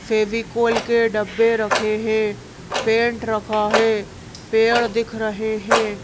फेविकोल के डब्बे रखे हैं पेंट रखा है पेड़ दिख रहे हैं।